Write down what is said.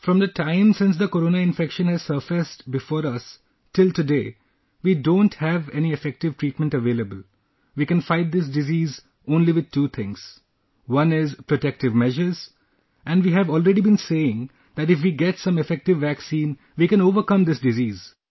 From the time since the corona infection has surfaced before us, till today, we don't have any effective treatment available...we can fight this disease with only two things one is protective measures ... and we have already been saying that if we get some effective vaccine we can overcome this disease